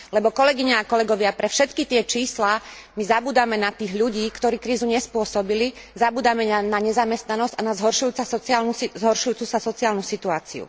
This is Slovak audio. Lebo, kolegyne a kolegovia, pre všetky tie čísla my zabúdame na tých ľudí, ktorí krízu nespôsobili, zabúdame na nezamestnanosť a na zhoršujúcu sa sociálnu situáciu.